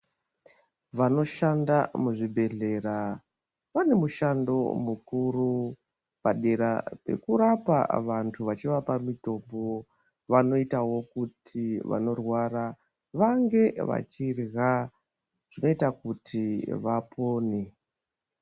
Vanoshanda muzvibhedlera vanomushando mukuru fanira wekurapa vantu vachivapa mitombo vanoitawo kuti vanorwara vange vachidya zvinoita kuti vapone.